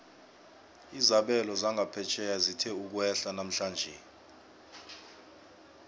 izabelo zangaphetjheya zithe ukwehla namhlanje